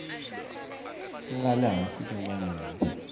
nga le hansi ka malembe